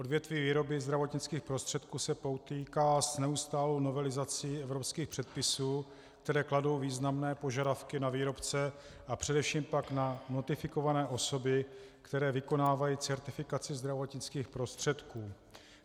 Odvětví výroby zdravotnických prostředků se potýká s neustálou novelizací evropských předpisů, které kladou významné požadavky na výrobce a především pak na notifikované osoby, které vykonávají certifikaci zdravotnických prostředků.